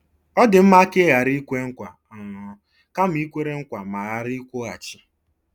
Ọ dị mma ka i ghara ikwe nkwa um kama i kwere nkwa ma ghara ịkwụghachi.